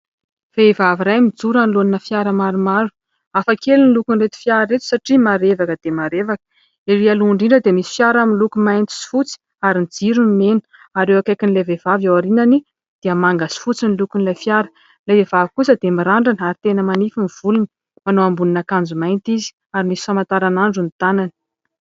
Vehivavy iray mijoro anoloana fiara maromaro. Hafa kely ny lokon'ireto fiara ireto satria marevaka dia marevaka. Erỳ aloha indrindra dia misy fiara miloko mainty sy fotsy ary ny jirony mena ary eo akaikiny ilay vehivavy eo aorianany dia manga sy fotsy ny lokon'ilay fiara ; ilay vehivavy kosa dia mirandrana ary tena manify ny volony. Manao ambonina akanjo mainty izy ary misy famantaranandro ny tanany.